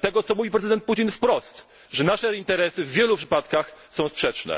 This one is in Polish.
tego, co mówi prezydent Putin wprost, że nasze interesy w wielu przypadkach są sprzeczne.